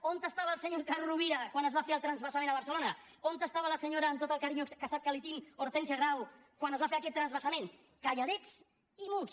on estava el senyor carod rovira quan es va fer el transvasament a barcelona on estava la senyora amb tot el carinyo que sap que li tinc hortènsia grau quan es va fer aquest transvasament calladets i muts